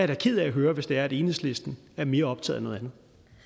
da ked af at høre hvis det er at enhedslisten er mere optaget